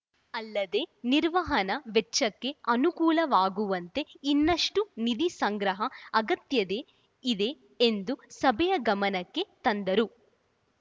ಅಲ್ಲದೇ ನಿರ್ವಹಣಾ ವೆಚ್ಚಕ್ಕೆ ಅನುಕೂಲವಾಗುವಂತೆ ಇನ್ನಷ್ಟುನಿಧಿ ಸಂಗ್ರಹ ಅಗತ್ಯತೆ ಇದೆ ಎಂದು ಸಭೆಯ ಗಮನಕ್ಕೆ ತಂದರು